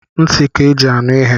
Ntị ka eji anụ ihe